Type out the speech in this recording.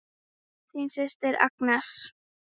Þín systir Agnes.